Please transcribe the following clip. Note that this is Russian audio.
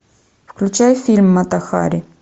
включай фильм мата хари